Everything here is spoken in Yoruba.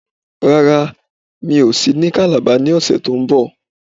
Rárá, mi ò sí ní Calabar ní ọ̀sẹ̀ to ń bọ̀